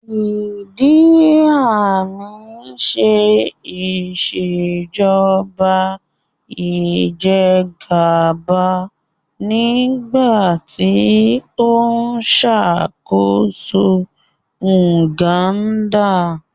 Ìdí Àmín ń ṣe Ìṣèjọ́ba ìjẹ́gàba nígbà tí ó ṣàkóso Uganda